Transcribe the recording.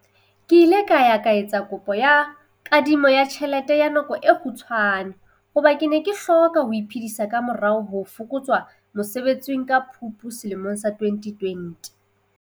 Ke ile ka ya etsa kopo ya kadimo ya tjhelete ya nako e kgutshwane hobane ke ne ke hloka ho iphedisa ka morao ho fokotswa mosebetsing ka Phupu selemong sa 2020.